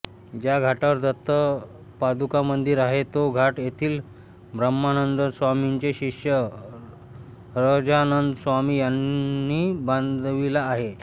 ज्या घाटावर दत्त पादुकामंदिर आहे तो घाट येथील ब्रह्मानंदस्वामींचे शिष्य सहजानंदस्वामी यांनी बांधविला आहे